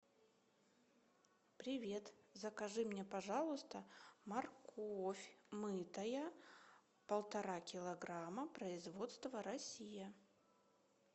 привет закажи мне пожалуйста морковь мытая полтора килограмма производство россия